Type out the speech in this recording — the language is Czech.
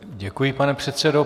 Děkuji, pane předsedo.